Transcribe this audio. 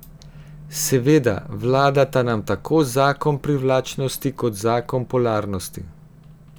Seveda, vladata nam tako zakon privlačnosti kot zakon polarnosti.